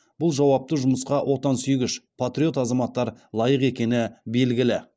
бұл жауапты жұмысқа отансүйгіш патриот азаматтар лайық екені белгілі